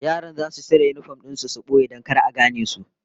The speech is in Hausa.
Yaran zasu cire yinifom din su su boye don kar a gane su